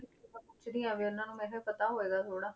ਕੀ ਮੈਂ ਪੁੱਛਦੀ ਹਾਂ ਵੀ ਉਹਨਾਂ ਨੂੰ ਮੈਂ ਕਿਹਾ ਪਤਾ ਹੋਵੇਗਾ ਥੋੜ੍ਹਾ।